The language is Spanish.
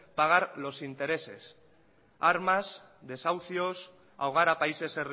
pagar los interés armas desahucios ahogar a países